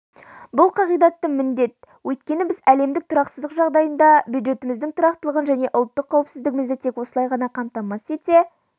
бұл қағидатты міндет өйткені біз әлемдік тұрақсыздық жағдайында бюджетіміздің тұрақтылығын және ұлттық қауіпсіздігімізді тек осылай ғана қамтамасыз ете